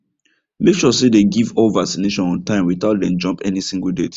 make sure say dem give all vaccination on time without dem jump any single date